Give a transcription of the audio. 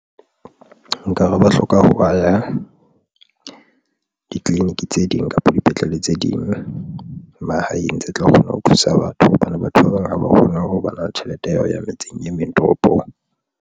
Nka re ba hloka aha ditleliniking tse ding kapa dipetlele tse ding mahaeng tse tla kgona ho thusa batho hobane batho ba bang ha ba kgone ho ba na le tjhelete ya hao ya metseng e meng toropong.